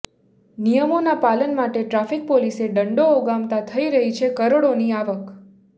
નિયમોના પાલન માટે ટ્રાફિક પોલીસે દંડો ઉગામતા થઈ રહી છે કરોડોની આવક